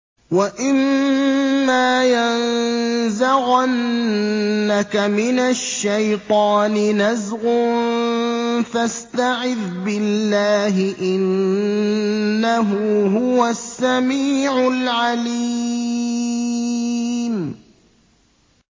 وَإِمَّا يَنزَغَنَّكَ مِنَ الشَّيْطَانِ نَزْغٌ فَاسْتَعِذْ بِاللَّهِ ۖ إِنَّهُ هُوَ السَّمِيعُ الْعَلِيمُ